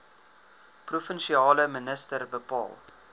provinsiale minister bepaal